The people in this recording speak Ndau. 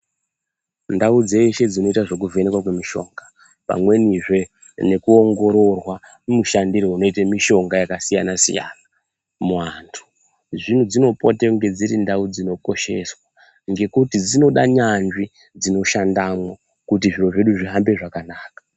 Ndau dzeshe dzinoita zvekuvhenekwa kwemishonga pamwenizve nekuongorwa mushandiro unoite mishonga yakasiyana-siyana muantu. Zvidzinopote kunga dziri ndau dzinokosheswa ,ngokuti dzinoda nyanzvi kuti dzishandamwo ,kuti zviro zvedu zvihambe zvakanaka.